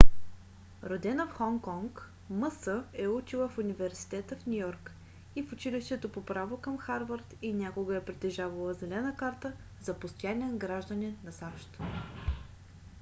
родена в хонг конг мс е учила в университета в ню йорк и в училището по право към харвард и някога е притежавала зелена карта за постоянен гражданин на сащ